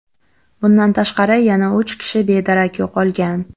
Bundan tashqari, yana uch kishi bedarak yo‘qolgan.